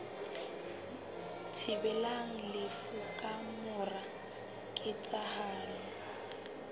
thibelang lefu ka mora ketsahalo